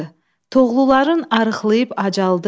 Toğluların arıqlayıb acaldı.